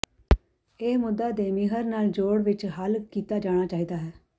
ਇਹ ਮੁੱਦਾ ਦੇਮਾਿਹਰ ਨਾਲ ਜੋੜ ਵਿੱਚ ਹੱਲ ਕੀਤਾ ਜਾਣਾ ਚਾਹੀਦਾ ਹੈ